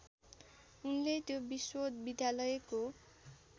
उनले त्यो विश्वविद्यालयको